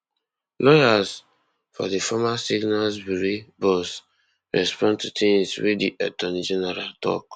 lawyers for di former signals bureau boss respond to tins wey di attorney general tok